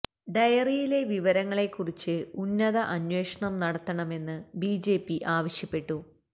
ഡയറിലെ വിവരങ്ങളെ കുറിച്ച് ഉന്നത അന്വേഷണം നടത്തണമെന്ന് ബിജെപി ആവശ്യപ്പെട്ടു